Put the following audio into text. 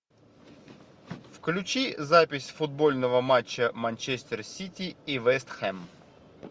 включи запись футбольного матча манчестер сити и вест хэм